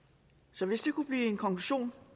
så hvis det kunne blive en konklusion